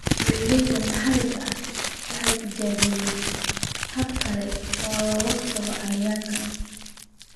Beeralayda maxalliga ahi waxay tijaabiyaan habab kale oo ka hortagga cayayaanka.